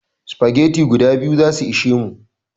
Spaghetti guda biyu zasu ishe mu